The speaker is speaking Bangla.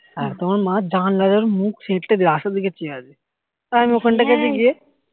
আর তোমার মা জানলা তে মুখ সেটকে রাস্তার দিকে চেয়ে আছে আর আমি এখানটাতে গিয়ে